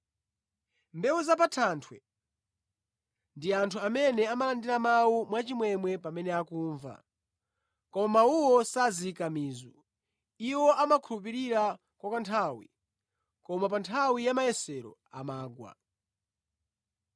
Mbewu za pa thanthwe ndi anthu amene amalandira mawu mwachimwemwe pamene akumva, koma mawuwo sazika mizu. Iwo amakhulupirira kwa kanthawi, koma pa nthawi ya mayesero, amagwa.